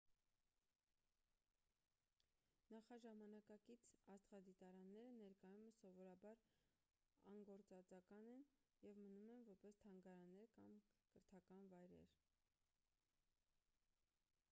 նախաժամանակակից աստղադիտարանները ներկայումս սովորաբար անգործածական են և մնում են որպես թանգարաններ կամ կրթական վայրեր